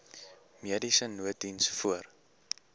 mediese nooddiens voor